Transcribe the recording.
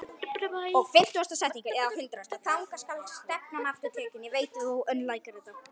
Þangað skal stefnan aftur tekin.